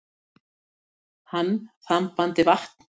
Hann þambandi vatn.